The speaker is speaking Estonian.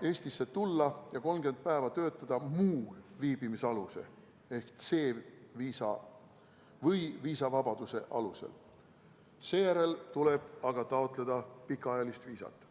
Eestisse tulla ja 30 päeva töötada muu viibimisaluse ehk C-viisa või viisavabaduse alusel, seejärel tuleb aga taotleda pikaajalist viisat.